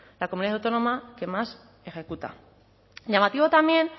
la comunidad autónoma que más ejecuta llamativo también